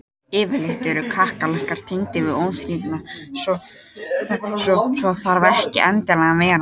Yfirleitt eru kakkalakkar tengdir við óþrifnað en svo þarf ekki endilega að vera.